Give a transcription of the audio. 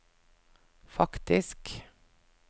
faktisk